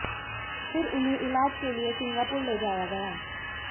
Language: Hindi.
फिर उन्हें इलाज के लिए सिंगापुर ले जाया गया